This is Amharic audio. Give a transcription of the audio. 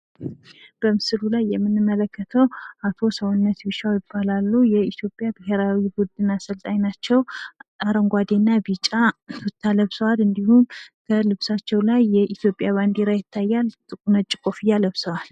በምስሉ ላይ የምንመለከተው አቶ ሰውነት ቢሻው ይባላሉ። የኢትዮጵያ ብሄራዊ ቡድን አሰልጣኝ ናቸው። አረንጓዴ እና ቢጫ ቱታ ለብሰዋል። በልብሳቸው ላይ የኢትዮጵያ ባንዲራ ይታያል። ነጭ ኮፉአ ለብሰዋል።